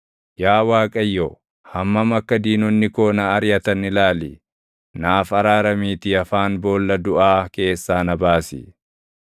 Yaa Waaqayyo, hammam akka diinonni koo na ariʼatan ilaali! Naaf araaramiitii afaan boolla duʼaa keessaa na baasi;